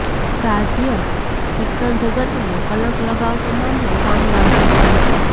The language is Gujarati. રાજ્ય શિક્ષણ જગતને કલંક લગાવતો મામલો સામે આવ્યો છે